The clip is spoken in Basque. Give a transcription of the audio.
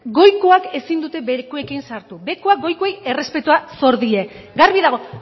nazkagarria goikoak ezin dute behekorekin sartu behekoak goikoei errespetua sor die garbi dago